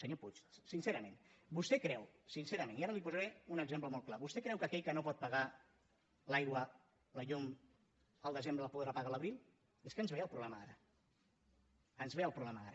senyor puig sincerament vostè creu sincerament i ara li posaré un exemple molt clar que aquell que no pot pagar l’aigua la llum al desembre les podrà pagar a l’abril és que ens ve el problema ara ens ve el problema ara